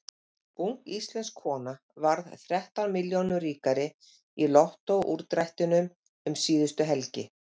Ung íslensk kona varð þrettán milljónum ríkari í Lottó úrdrættinum um síðustu helgi.